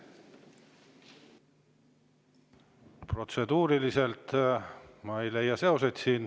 Protseduuridega ma ei leia siin seost.